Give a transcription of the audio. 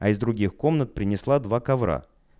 а из других комнат принесла два ковра